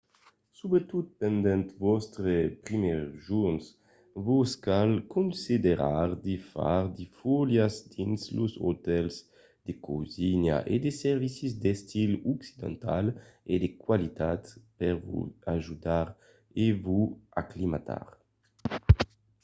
subretot pendent vòstres primièrs jorns vos cal considerar de far de foliás dins los otèls de cosina e de servicis d'estil occidental e de qualitat per vos ajudar a vos aclimatar